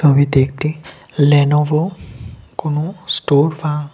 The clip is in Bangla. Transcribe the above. ছবিতে একটি লেনোভো কোন স্টোর বা--